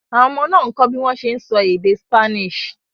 Àwọn ọmọ náà ń kọ́ bí wọ́n ṣe ń sọ èdè Spanish.